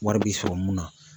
Wari bi sɔrɔ mun na.